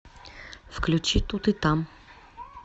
включи тут и там